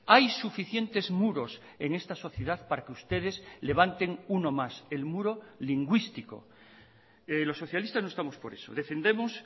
hay suficientes muros en esta sociedad para que ustedes levanten uno más el muro lingüístico los socialistas no estamos por eso defendemos